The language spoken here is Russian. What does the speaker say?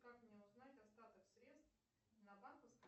как мне узнать остаток средств на банковской